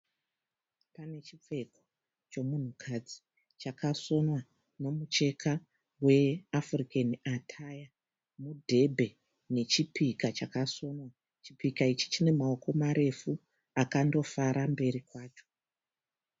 Pane chipfeko chomunhukadzi chakasonwa nemucheka weAfurikeni ataya. Mudhebhe nechipika chakasonwa. Chipika ichi chine maoko marefu akandofara mberi kwacho.